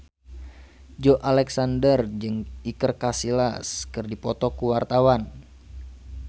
Joey Alexander jeung Iker Casillas keur dipoto ku wartawan